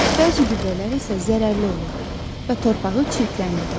Bəzi gübrələr isə zərərli olur və torpağı çirkləndirir.